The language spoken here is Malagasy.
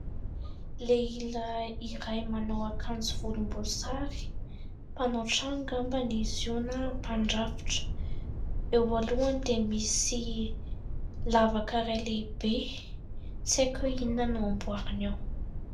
Lehilahy iray manao akanjo volomboasary. Mpanao trano angamba izy io na mpandrafitra. Eo alohany dia misy lavaka iray lehibe, tsy haiko hoe inona no amboariny ao.